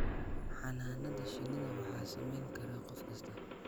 Xannaanada shinnida waxaa samayn kara qof kasta